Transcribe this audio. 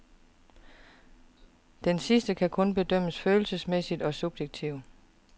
Denne sidste kan kun bedømmes følelsesmæssigt og subjektivt.